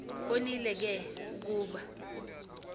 bonile ke ukuba